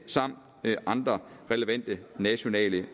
samt andre relevante nationale